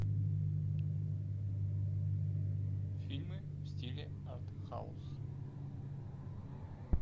фильмы в стиле артхаус